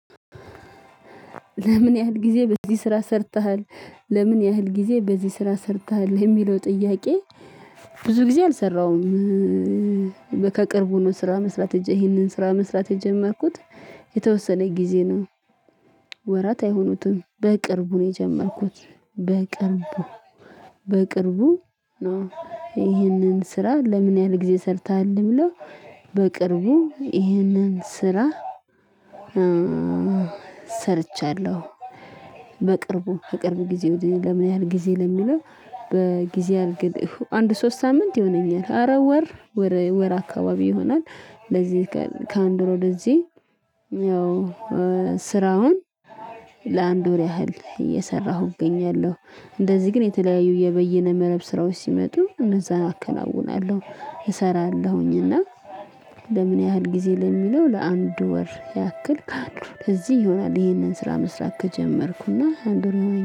ለምን ያህል ጊዜ በዚህ ስራ ሰርተሃል? ለምን ያህል ጊዜ በዚህ ስራ ሰርተሃል የሚለው ጥያቄ። ብዙ ጊዜ አልሰራሁም። ከቅርቡ ነው ስራ መስራት ይሄንን ስራ መስራት የጀመርኩት የተወሰነ ጊዜ ነው። ወራት አይሆኑትም በቅርቡ ነው የጀመርኩት በቅርቡ በቅርቡ ነው። ይህንን ስራ ለምን ያህል ጊዜ ሰርተሃል ብሎ በቅርቡ ይህንን ስራ። ሰርቻለሁ። በቅርቡ ከቅርብ ጊዜ ወዲህ ለምን ያህል ጊዜ ለሚለው። በጊዜ አልግል አንድ ሶስት ሳምንት ይሆነኛል አረ ወር ወር አካባቢ ይሆነኛል። ለዚህ ከአንድ ወር ወደዚህ ያው ስራውን ለአንድ ወር ያህል እየሰራሁ እገኛለሁ። እንደዚህ ግን የተለያዩ የበየነ መረብ ስራዎች ሲመጡ እነዛን አከናውናለሁ እሰራለሁኝና። ለምን ያህል ጊዜ ለሚለው ለአንድ ወር ያክል ካሉ ለዚህ ይሆናል ይሄንን ስራ መስራት ከጀመርኩና አንድ ወር ሆነኝ